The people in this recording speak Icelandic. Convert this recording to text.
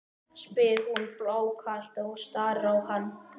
spyr hún blákalt og starir á hann.